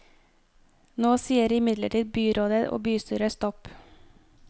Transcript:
Nå sier imidlertid byrådet og bystyret stopp.